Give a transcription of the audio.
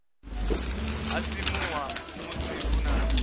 ha simuwa musi hu na